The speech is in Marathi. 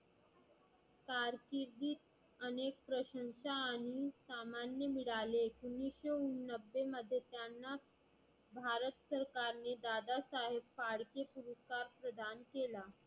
कारकिर्दीत अनेक प्रशंसा आणि सामान्य मिळाले. उन्निससो नब्बे मध्ये त्यांना भारत सरकारने दादासाहेब फाळके पुरस्कार प्रदान केला.